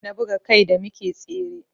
Jiya na buga kai da muke tsere